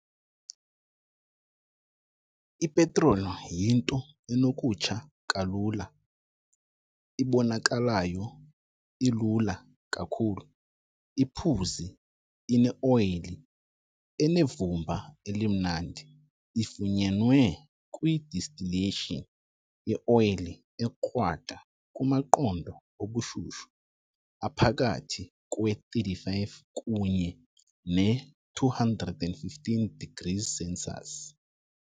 I-petroli yinto enokutsha kalula, ibonakalayo, ilula kakhulu, iphuzi, ineoyili inevumba elimnandi, ifunyenwe kwi-distillation yeoyili ekrwada kumaqondo obushushu aphakathi kwe-35 kunye ne-215 degrees census.